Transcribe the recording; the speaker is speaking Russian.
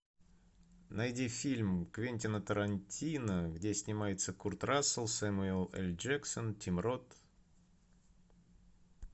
найди фильм квентина тарантино где снимается курт рассел сэмюэл л джексон тим рот